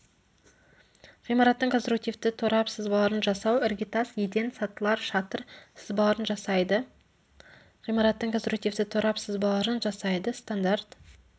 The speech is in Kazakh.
ғимараттың конструктивті торап сызбаларын жасау іргетас еден сатылар шатыр сызбаларын жасайды ғимараттың конструктивті торап сызбаларын жасайды стандарт